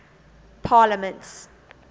parliaments